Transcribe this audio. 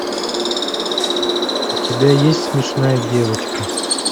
у тебя есть смешная девочка